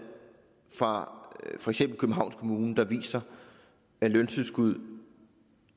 fra for eksempel københavns kommune der viser at løntilskud